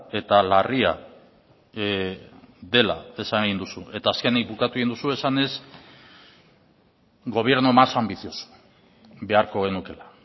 eta larria dela esan egin duzu eta azkenik bukatu egin duzu esanez gobierno más ambicioso beharko genukeela